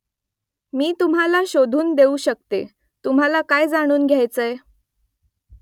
मी तुम्हाला शोधून देऊ शकते . तुम्हाला काय जाणून घ्यायचंय ?